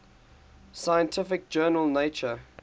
scientific journal nature